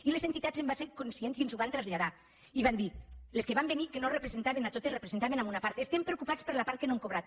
i les entitats en van ser conscients i ens ho van traslladar i van dir les que van venir que no les representaven totes representaven una part estem preocupats per la part que no hem cobrat